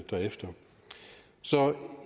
derefter